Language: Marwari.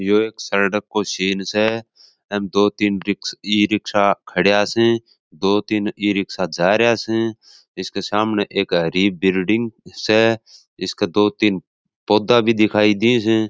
यो एक सड़क को सीन स एन दो तीन डिस्क इ रिक्शा खड़ा स दो तीन इ रिक्शा जारेया स इसके सामने एक हरी बिल्डिंग स इसके दो तीन पौधा भी दिखाई दे है।